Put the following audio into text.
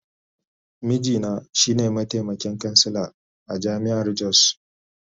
Mijina shi ne mataimakin kansila a jami’ar Jos.